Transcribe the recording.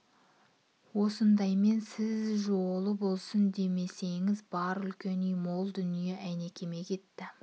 осындаймен сіз жолы болсын демесеңіз бар үлкен үй мол дүние әйнекеме кетті